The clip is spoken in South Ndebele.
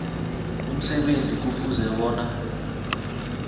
umsebenzi kufuze bona